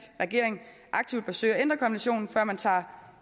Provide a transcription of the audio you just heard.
regering aktivt bør søge at ændre konventionen før man tager